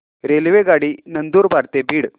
रेल्वेगाडी नंदुरबार ते बीड